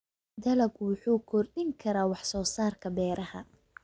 Dalaggu wuxuu kordhin karaa wax soo saarka beeraha.